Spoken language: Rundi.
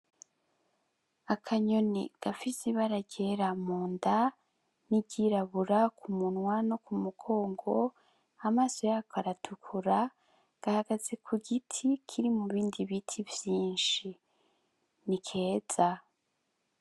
Akanyoni gafise ibara ryera mu nda niry'irabura ku munwa no kumugongo amaso yako aratukura gahagaze ku giti kiri mubindi biti vyinshi ni keza.